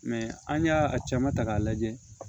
an y'a a caman ta k'a lajɛ